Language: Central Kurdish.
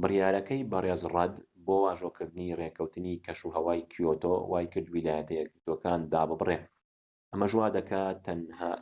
بڕیارەکەی بەڕێز ڕەد بۆ واژۆکردنی ڕێکەوتنی کەشوهەوای کیۆتۆ وای کرد ویلایەتە یەکگرتوەکان داببڕێت ئەمەش وادەکات